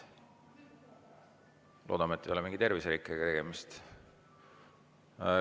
Loodame, et ei ole mingi terviserikkega tegemist.